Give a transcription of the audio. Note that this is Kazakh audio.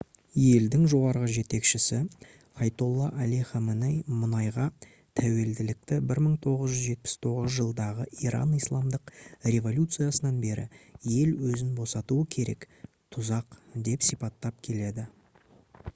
елдің жоғарғы жетекшісі айатолла али хаменей мұнайға тәуелділікті 1979 жылдағы иран исламдық революциясынан бері ел өзін босатуы керек «тұзақ» деп сипаттап келді